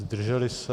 Zdrželi se?